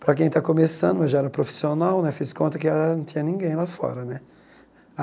Para quem está começando, já era profissional né, fiz conta que ela não tinha ninguém lá fora né.